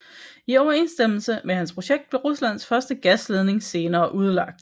I overensstemmelse med hans projekt blev Ruslands første gasledning senere udlagt